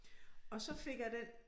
Og så fik jeg den